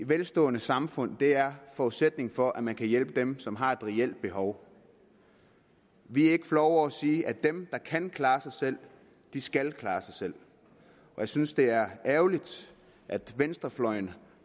velstående samfund er forudsætningen for at man kan hjælpe dem som har et reelt behov vi er ikke flove over at sige at dem der kan klare sig selv skal klare sig selv og jeg synes det er ærgerligt at venstrefløjen